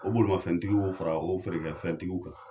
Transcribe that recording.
O bolimafentigiw o fara o feerefɛntigiw kan.